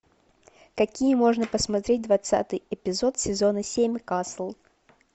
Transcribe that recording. какие можно посмотреть двадцатый эпизод сезона семь касл